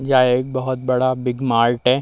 यह एक बहुत बड़ा बिग मार्ट है।